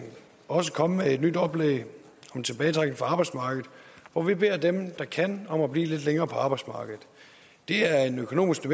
også kommet med et nyt oplæg om tilbagetrækning fra arbejdsmarkedet hvor vi beder dem der kan om at blive lidt længere på arbejdsmarkedet det er en økonomisk